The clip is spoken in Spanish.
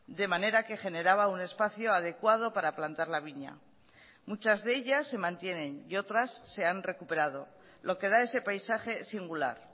de manera que generaba un espacio adecuado para plantar la viña muchas de ellas se mantienen y otras se han recuperado lo que da a ese paisaje singular